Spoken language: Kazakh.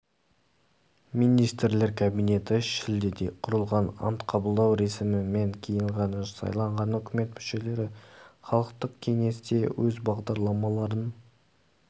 министрлер кабинеті шілдеде құрылған ант қабылдау рәсімінен кейін жаңа сайланған үкімет мүшелері халықтық кеңесте өз бағдарламаларын